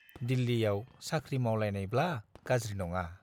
दिल्लीयाव साख्रि मावलायनायब्ला गाज्रि नङा।